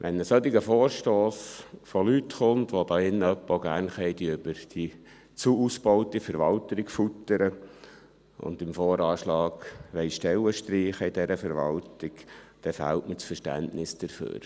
Wenn ein solcher Vorstoss von Leuten kommt, welche hier drin über die zu ausgebaute Verwaltung schimpfen und im Voranschlag bei dieser Verwaltung Stellen streichen wollen, dann fehlt mir das Verständnis dafür.